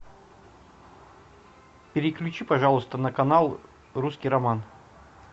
переключи пожалуйста на канал русский роман